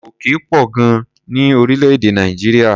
Òkè pọ̀ gan-an ní orílẹ̀-èdè Nàìjíríà.